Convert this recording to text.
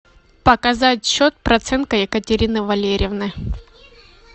показать счет проценко екатерины валерьевны